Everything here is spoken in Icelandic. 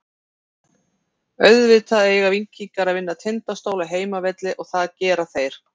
Auðvitað eiga Víkingar að vinna Tindastól á heimavelli og það gera þeir.